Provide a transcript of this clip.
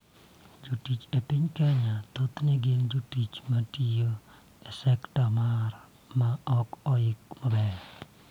Jotich e piny Kenya thothne gin jotich ma tiyo e sektor ma ok oik maber,